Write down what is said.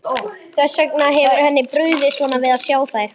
Þess vegna hefur henni brugðið svona við að sjá þær.